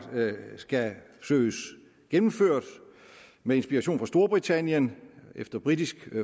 skal søges gennemført med inspiration fra storbritannien efter britisk